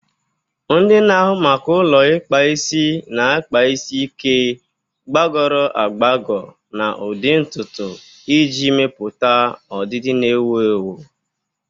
Ndị na-ahụ maka ụlọ ikpa isi na-akpa isi ike, gbagọrọ agbagọ, na ụdị ntutu iji mepụta ọdịdị na-ewu ewu.